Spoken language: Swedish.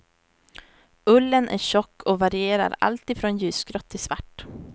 Ullen är tjock och varierar alltifrån ljusgrått till svart.